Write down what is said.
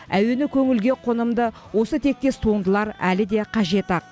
әуені көңілге қонымды осы тектес туындылар әлі де қажет ақ